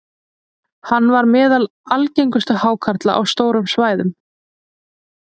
hann var meðal algengustu hákarla á stórum svæðum